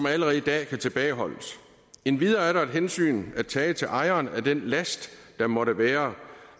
allerede i dag kan tilbageholdes endvidere er der et hensyn at tage til ejeren af den last der måtte være